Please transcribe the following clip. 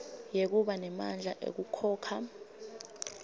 yekuba nemandla ekukhokha